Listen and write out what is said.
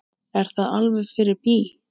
Er það alveg fyrir bí?